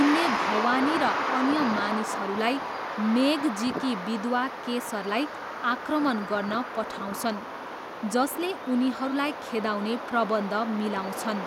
उनले भवानी र अन्य मानिसहरूलाई मेघ जीकी विधवा केसरलाई आक्रमण गर्न पठाउँछन्, जसले उनीहरूलाई खेदाउने प्रबन्ध मिलाउँछन्।